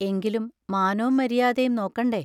എങ്കിലും മാനോം മരിയാതേം നോക്കണ്ടേ?